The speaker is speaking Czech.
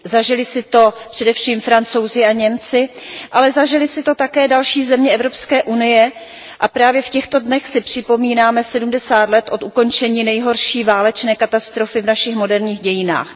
Zažili si to především Francouzi a Němci, ale zažily si to také další země Evropské unie, a právě v těchto dnech si připomínáme sedmdesát let od ukončení nejhorší válečné katastrofy v našich moderních dějinách.